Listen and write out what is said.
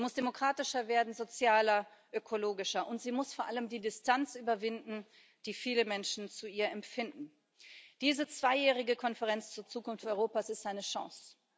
Sie muss demokratischer werden, sozialer, ökologischer, und sie muss vor allem die Distanz überwinden, die viele Menschen zu ihr empfinden. Diese zweijährige Konferenz zur Zukunft Europas ist eine Chance.